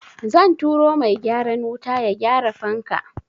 Zan turo mai gyaran wuta ya gyara fanka.